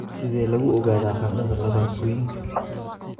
Sidee lagu ogaadaa qandhada laabotooyinka?